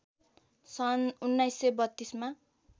सन् १९३२ मा